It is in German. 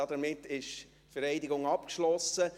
Damit ist die Vereidigung abgeschlossen.